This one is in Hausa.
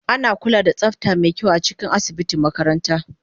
Ana kula da tsafta mai kyau a cikin asibitin makaranta